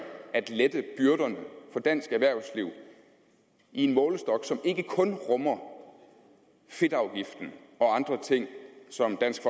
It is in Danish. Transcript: at lette byrderne for dansk erhvervsliv i en målestok som ikke kun rummer fedtafgiften og andre ting som dansk